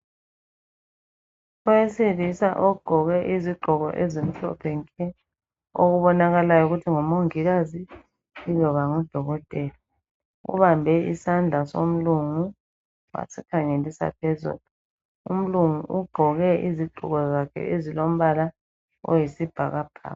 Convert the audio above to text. Owesilisa ogqoke izigqko ezimhlophe nke okubonakalayo ukuthi ngumongikazi yiloba ngudokotela, ubambe isandla somlungu asikhangelisa phezulu. Umlungu ugqoke izigqoko zakhe ezilombla oyisibhakabhaka.